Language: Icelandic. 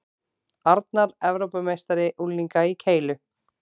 Arnar Evrópumeistari unglinga í keilu